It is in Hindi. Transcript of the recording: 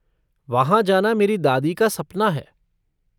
वहाँ जाना मेरी दादी का सपना है।